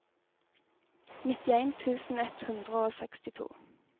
nittien tusen ett hundre og sekstito